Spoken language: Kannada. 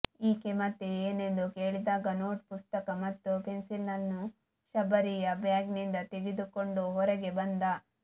ಈಕೆ ಮತ್ತೆ ಏನೆಂದು ಕೇಳಿದಾಗ ನೋಟ್ ಪುಸ್ತಕ ಮತ್ತು ಪೆನ್ಸಿಲ್ಲನ್ನು ಶಬರಿಯ ಬ್ಯಾಗಿನಿಂದ ತೆಗೆದುಕೊಂಡು ಹೊರಗೆ ಬಂದ